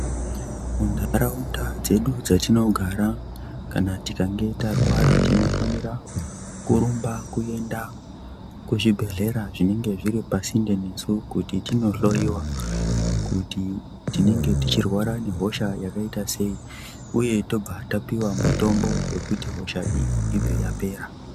Munharaunda dzedu dzatinogara kana tikange tarwara tinofanira kurumba kuenda kuzvibhedhlera zvinenge zviri pasinde nesu. Kuti tinohloyiwa kuti tinenge tichirwara nehosha yakaita sei uye tobva tapiwa mitombo wekuti hosha iyi ibve yapera.